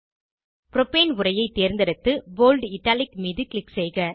propane உரையைத் தேர்ந்தெடுத்து bold italic மீது க்ளிக் செய்க